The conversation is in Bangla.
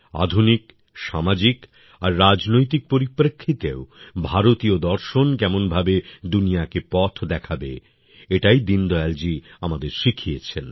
আধুনিক সামাজিক আর রাজনৈতিক পরিপ্রেক্ষিতেও ভারতীয় দর্শন কেমনভাবে দুনিয়াকে পথ দেখাতে পারে এটা দীনদয়ালজী আমাদের শিখিয়েছেন